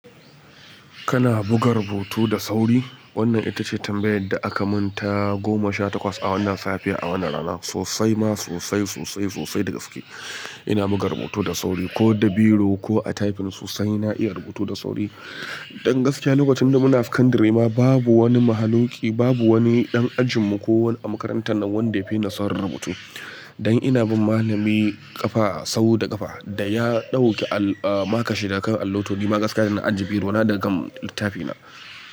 Kana buga rubutu da sauri? Wannan ita ce tambayar da aka mun ta goma sha takwas a wannan safiya, a wannan rana. Sosai ma sosai, sosai, sosai da gaske. Ina buga rubutu da sauri ko da biro ko a tyfin sosai na iya rubutu da sauri. Don gaskiya, lokacin da muna a secondary ma babu wani mahaluki, babu wani ɗan ajinmu ko wani a makarantar nan wanda ya fi ni saurin rubutu. Don ina bin malami ƙafa sau da ƙafa da ya ɗauki al-- ah makan shi daga kan allo to nima Gaskiya zan ajiye biro na da gam littafi na.